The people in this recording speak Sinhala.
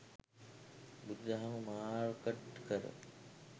බුදු දහම මාර්කට් කර